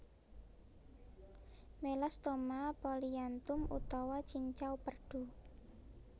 Melasthoma polyanthum utawa cincau perdu